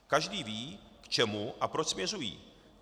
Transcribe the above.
Každý ví, k čemu a proč směřují.